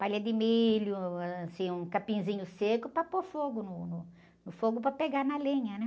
Palha de milho, assim, um capinzinho seco para pôr fogo no, no, no fogo para pegar na lenha, né?